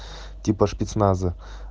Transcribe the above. типа спецназа